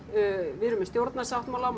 við erum með stjórnarsáttmála